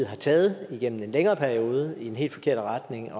har taget igennem en længere periode i en helt forkert retning